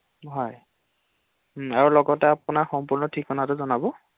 হয় ঘৰৰ লগতে আপোনাৰ সম্পূ্ৰ্ণ ঠিকনাটো জনাব ৷